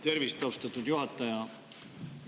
Tervist, austatud juhataja!